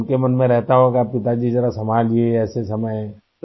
تو اُن کے دل میں رہتا ہوگا کہ پتاجی ذرا سنبھلیئے ایسے وقت